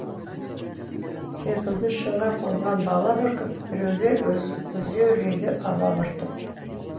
секілді шыңға қонған бала бүркіт біреулер өзеурейді алабұртып